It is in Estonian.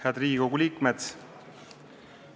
Head Riigikogu liikmed!